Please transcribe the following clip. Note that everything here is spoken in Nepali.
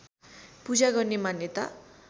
पूजा गर्ने मान्यता